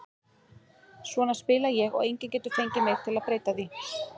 Svona spila ég og enginn getur fengið mig til að breyta því.